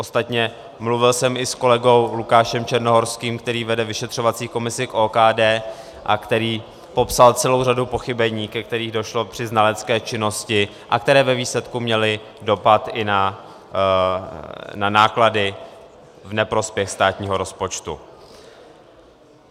Ostatně mluvil jsem i s kolegou Lukášem Černohorským, který vede vyšetřovací komisi k OKD a který popsal celou řadu pochybení, ke kterým došlo při znalecké činnosti a které ve výsledku měly dopad i na náklady v neprospěch státního rozpočtu.